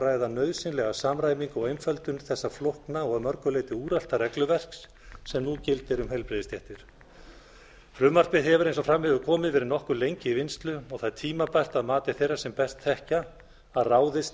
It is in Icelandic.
ræða nauðsynlega samræmingu og einföldun þessa flókna og að mörgu leyti úrelta regluverks sem nú gildir um heilbrigðisstéttir frumvarpið hefur eins og fram hefur komið verið nokkuð lengi í vinnslu og það er tímabært að mati þeirra sem best þekkja að ráðist